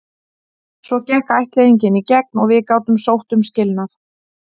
Svo gekk ættleiðingin í gegn og við gátum sótt um skilnað.